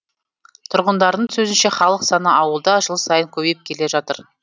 тұрғындардың сөзінше халық саны ауылда жыл сайын көбейіп келе жатыр